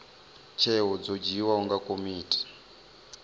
tsheo dzo dzhiiwaho nga komiti